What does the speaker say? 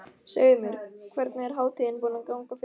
Segðu mér, hvernig er hátíðin búin að ganga fyrir sig?